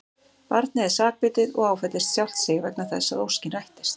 Barnið er sakbitið og áfellist sjálft sig vegna þess að óskin rættist.